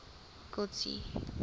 kotsi